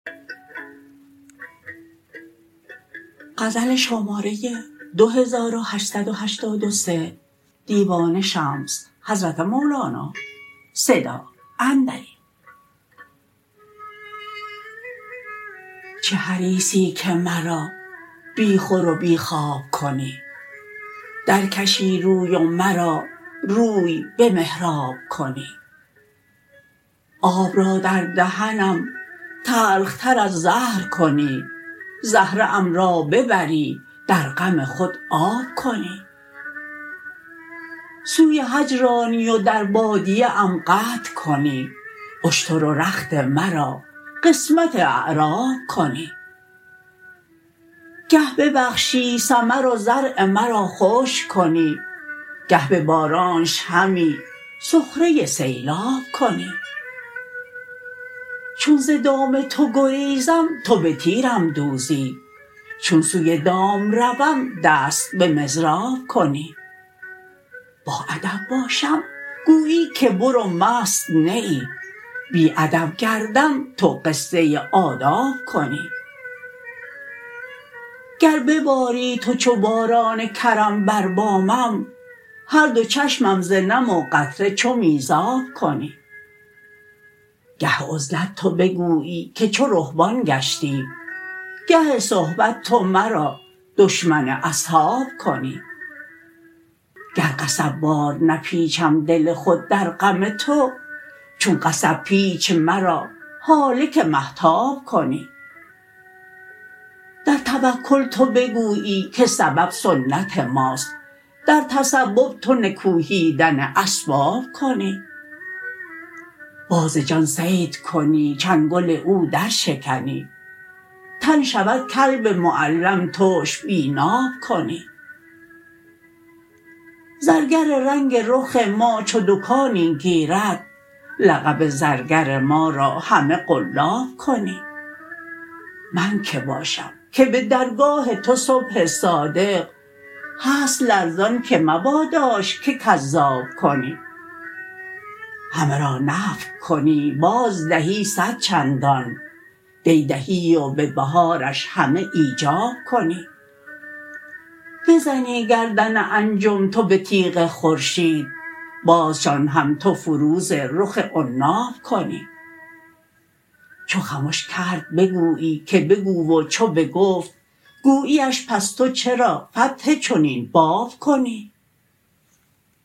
چه حریصی که مرا بی خور و بی خواب کنی درکشی روی و مرا روی به محراب کنی آب را در دهنم تلخ تر از زهر کنی زهره ام را ببری در غم خود آب کنی سوی حج رانی و در بادیه ام قطع کنی اشتر و رخت مرا قسمت اعراب کنی گه ببخشی ثمر و زرع مرا خشک کنی گه به بارانش همی سخره سیلاب کنی چون ز دام تو گریزم تو به تیرم دوزی چون سوی دام روم دست به مضراب کنی باادب باشم گویی که برو مست نه ای بی ادب گردم تو قصه آداب کنی گر بباری تو چو باران کرم بر بامم هر دو چشمم ز نم و قطره چو میزاب کنی گه عزلت تو بگویی که چو رهبان گشتی گه صحبت تو مرا دشمن اصحاب کنی گر قصب وار نپیچم دل خود در غم تو چون قصب پیچ مرا هالک مهتاب کنی در توکل تو بگویی که سبب سنت ماست در تسبب تو نکوهیدن اسباب کنی باز جان صید کنی چنگل او درشکنی تن شود کلب معلم تش بی ناب کنی زرگر رنگ رخ ما چو دکانی گیرد لقب زرگر ما را همه قلاب کنی من که باشم که به درگاه تو صبح صادق هست لرزان که مباداش که کذاب کنی همه را نفی کنی بازدهی صد چندان دی دهی و به بهارش همه ایجاب کنی بزنی گردن انجم تو به تیغ خورشید بازشان هم تو فروز رخ عناب کنی چو خمش کرد بگویی که بگو و چو بگفت گویی اش پس تو چرا فتح چنین باب کنی